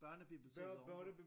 Børnebiblioteket ovenpå